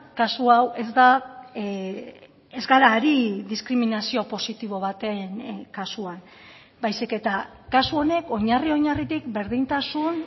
kasu hau ez da ez gara ari diskriminazio positibo baten kasuan baizik eta kasu honek oinarri oinarritik berdintasun